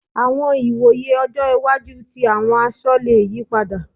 Àwọn ìwòye ọjọ́ iwájú tí àwọn aṣọ le yí padà.